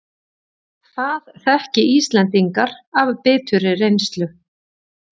Það þekki Íslendingar af biturri reynslu